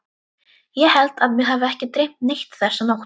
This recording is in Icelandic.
Ég held að mig hafi ekki dreymt neitt þessa nótt.